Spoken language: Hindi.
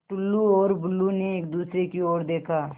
टुल्लु और बुल्लु ने एक दूसरे की ओर देखा